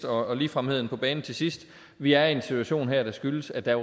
og ligefremheden på banen til sidst vi er i en situation her der skyldes at der